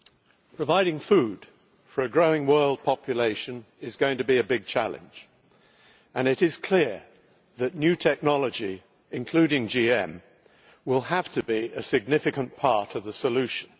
Mr President, providing food for a growing world population is going to be a big challenge, and it is clear that new technology, including GM, will have to be a significant part of the solution.